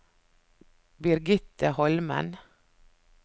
Birgitte Holmen